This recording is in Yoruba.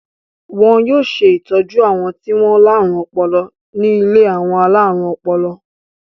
Wọn yóò ṣe ìtọ́jú àwọn tí wọ́n láárùn ọpọlọ ní ilé àwọn alárùn ọpọlọ.